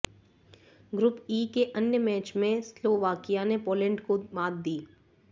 group E के अन्य match में स्लोवाकिया ने पौलेंड को मात दी